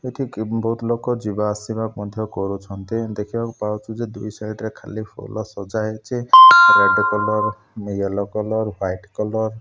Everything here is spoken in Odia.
ଏଠି କି ବହୁତ୍ ଲୋକ ଯିବା ଆସିବା ମଧ୍ୟ କରୁଛନ୍ତି ଦେଖିବାକୁ ପାଉଚୁ ଯେ ଦୁଇ ସାଇଡ୍ ରେ ଖାଲି ଫୁଲ ସଜା ହେଇଛି red colour yellow colour white colour.